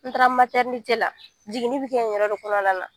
N taara la jiginni bɛ kɛ o yɛrɛ de kɔnɔna la